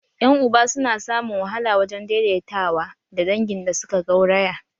Yan uba su na samun wahala wajen daidaita wa da dangin da suka gauraya